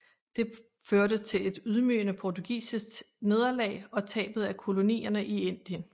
Det førte til et ydmygende portugisisk nederlag og tabet af kolonierne i Indien